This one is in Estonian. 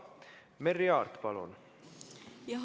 Merry Aart, palun!